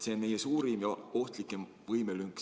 See on meie suurim ja ohtlikem võimelünk.